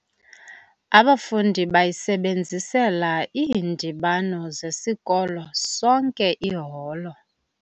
Abafundi bayisebenzisela iindibano zesikolo sonke iholo.